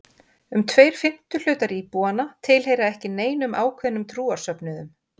Um tveir fimmtu hlutar íbúanna tilheyra ekki neinum ákveðnum trúarsöfnuðum.